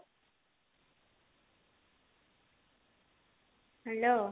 hello